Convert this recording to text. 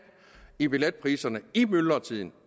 i billetpriserne i myldretiden